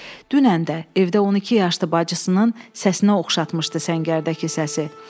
Dünən də evdə 12 yaşlı bacısının səsinə oxşatmışdı səngərdəki səsi.